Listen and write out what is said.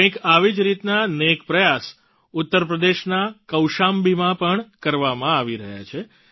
કંઈક આવી જ રીતના નેક પ્રયાસ ઉત્તરપ્રદેશના કૌશામ્બીમાં પણ કરવામાં આવી રહ્યા છે